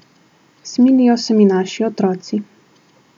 Smilijo se mi naši otroci.